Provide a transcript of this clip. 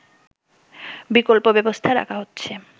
বিকল্প ব্যবস্থা রাখা হচ্ছে